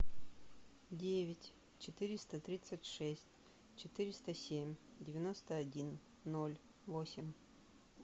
девять четыреста тридцать шесть четыреста семь девяносто один ноль восемь